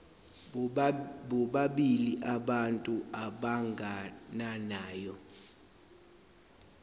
bobabili abantu abagananayo